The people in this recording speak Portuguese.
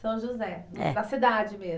São José. É. Na cidade mesmo?